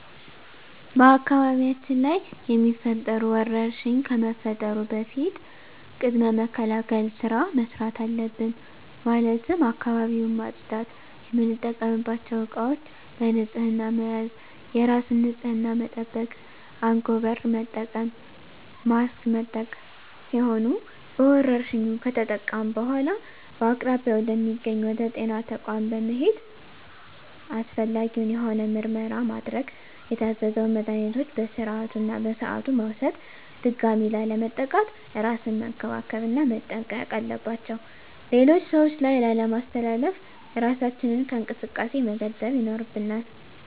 በአካባቢያችን ላይ የሚፈጠሩ ወረርሽኝ ከመፈጠሩ በፊት ቅድመ መከላከል ስራ መስራት አለብን ማለትም አካባቢውን ማፅዳት፣ የምንጠቀምባቸው እቃዎች በንህፅና መያዝ፣ የራስን ንፅህና መጠበቅ፣ አንጎበር መጠቀም፣ ማስክ መጠቀም ሲሆኑ በወረርሽኙ ከተጠቃን በኃላ በአቅራቢያ ወደ ሚገኝ ወደ ጤና ተቋም በመሔድ አስፈላጊውን የሆነ ምርመራ ማድረግ የታዘዘውን መድሀኒቶች በስርዓቱ እና በሰዓቱ መውሰድ ድጋሚ ላለመጠቃት እራስን መንከባከብ እና መጠንቀቅ አለባቸው ሌሎች ሰዎች ላይ ላለማስተላለፍ እራሳችንን ከእንቅስቃሴ መገደብ ይኖርብናል።